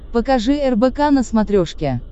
покажи рбк на смотрешке